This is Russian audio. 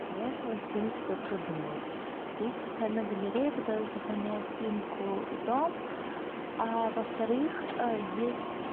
для этого симс все продумал есть специальная галерея когда сохраняешь симку и дом а во-вторых есть